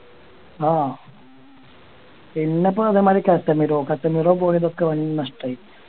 ആഹ് പിന്നെ ഇപ്പൊ അതേമാതിരി കാതമിറോ കാതമിറോ പോയതൊക്കെ വൻ നഷ്ടായി